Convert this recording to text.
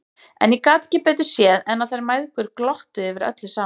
En ég gat ekki betur séð en að þær mæðgur glottu yfir öllu saman!